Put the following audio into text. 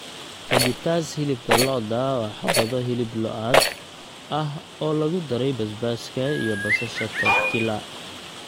Fajitas hilibka lo'da waa xabbado hilib lo'aad ah oo lagu daray basbaaska iyo basasha tortilla.